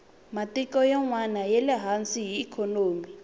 matiko yanwani yale hansi hi ikhonomi